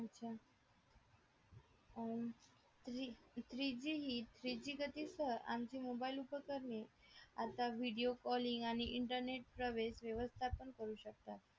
अच्छा अं three G ही three G गती सह आणखी मोबाईल उपकरणे आता video calling आणि internet प्रवेश व्यवस्थापन करू शकता